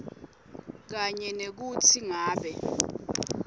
kanye nekutsi ngabe